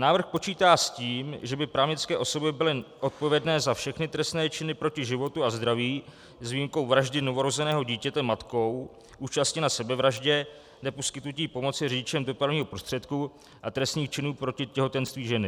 "Návrh počítá s tím, že by právnické osoby byly odpovědné za všechny trestné činy proti životu a zdraví, s výjimkou vraždy novorozeného dítěte matkou, účasti na sebevraždě, neposkytnutí pomoci řidičem dopravního prostředku a trestných činů proti těhotenství ženy.